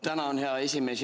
Tänan, hea esimees!